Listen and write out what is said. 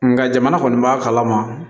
Nga jamana kɔni b'a kalama